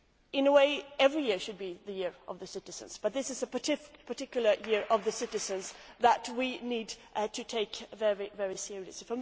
In a way, every year should be the year of the citizens, but this is a particular Year of the Citizens that we need to take very seriously.